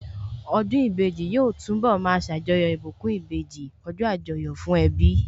Ọdún ìbejì yóò túnbọ̀ ma ṣàjọyọ̀ ìbùkún ìbejì, ọjọ́ Àjọyọ̀ fún ẹbí